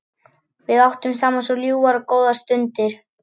Við áttum saman svo ljúfar og góðar stundir.